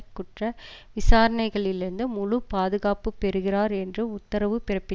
குற்ற விசாரணைகளிலிருந்து முழு பாதுகாப்பு பெறுகிறார் என்று உத்தரவு பிறப்பித்